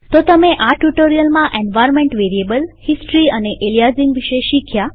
તો તમે આ ટ્યુ્ટોરીઅલમાં એન્વાર્નમેન્ટ વેરીએબલહિસ્ટરી અને એલીયાઝીંગ વિશે શીખ્યા